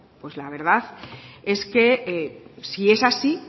pues la verdad es que si es así